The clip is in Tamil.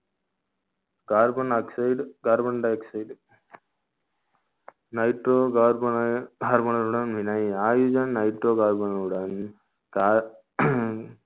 carbonoxide carbon dioxide nitrorocarbon I